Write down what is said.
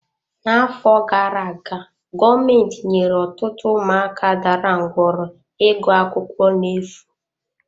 N'afọ gara aga, gọọmentị nyere ọtụtụ ụmụaka dara ngwọrọ ịgụ akwụkwọ na-efu.